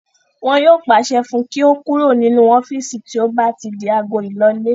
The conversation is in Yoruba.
Wọn yóò pàṣẹ fún un kí ó kúrò nínú ọ́fìsì tí ó bá ti di agọ ílọlé